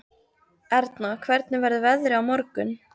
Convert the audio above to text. Erna, hvernig verður veðrið á morgun?